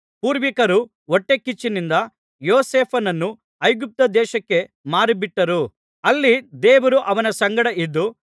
ಪೂರ್ವಿಕರು ಹೊಟ್ಟೆಕಿಚ್ಚಿನಿಂದ ಯೋಸೇಫನನ್ನು ಐಗುಪ್ತದೇಶಕ್ಕೆ ಮಾರಿಬಿಟ್ಚರು ಅಲ್ಲಿ ದೇವರು ಅವನ ಸಂಗಡ ಇದ್ದು